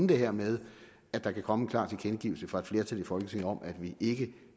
det her med at der kan komme en klar tilkendegivelse fra et flertal i folketinget om at vi ikke